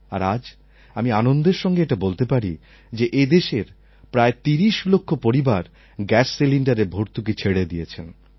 আর আজ আমি আনন্দের সঙ্গে এটা বলতে পারি যে এদেশের প্রায় তিরিশ লক্ষ পরিবার গ্যাস সিলিণ্ডারের ভর্তুকি ছেড়ে দিয়েছেন